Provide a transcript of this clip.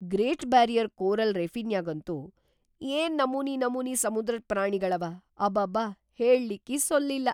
Great barrier coral ರೀಫಿನ್ಯಾಗಂತೂ ಏನ್‌ ನಮೂನಿ ನಮೂನಿ ಸಮುದ್ರದ್ ಪ್ರಾಣಿಗಳವ ಅಬಾಬಾಬಾ ಹೇಳ್ಳಿಕ್ಕಿ ಸೊಲ್ಲಿಲ್ಲ.